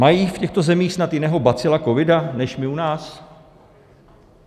Mají v těchto zemích snad jiného bacila covida než my u nás?